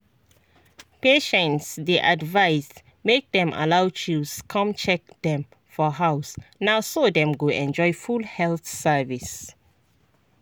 patients dey advised make dem allow chws come check dem for house na so dem go enjoy full health service.